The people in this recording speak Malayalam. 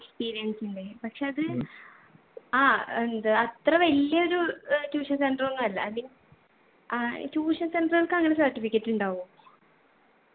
experience ൻ്റെ പക്ഷെ അത് ആ എന്ത് അത്ര വലിയൊരു ഏർ tuition center ഒന്നു അല്ല i mean ah tuition center കൾക്ക് അങ്ങന certificate ഉണ്ടാവോ